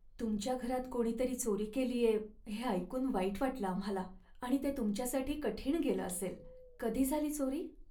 तुमच्या घरात कोणीतरी चोरी केलीये हे ऐकून वाईट वाटलं आम्हाला आणि ते तुमच्यासाठी कठीण गेलं असेल. कधी झाली चोरी?